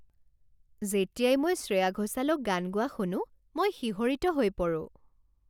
যেতিয়াই মই শ্ৰেয়া ঘোচালক গান গোৱা শুনো, মই শিহৰিত হৈ পৰোঁ।